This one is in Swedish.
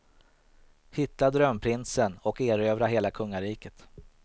Hitta drömprinsen och erövra hela kungariket.